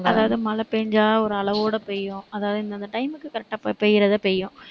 அதாவது மழை பெய்ஞ்சா ஒரு அளவோட பெய்யும். அதாவது, இந்த இந்த time க்கு correct ஆ பெய்~ பெய்யிறதை பெய்யும்.